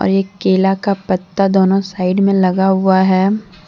एक केला का पत्ता दोनों साइड में लगा हुआ है।